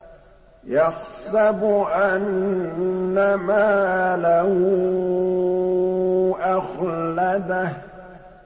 يَحْسَبُ أَنَّ مَالَهُ أَخْلَدَهُ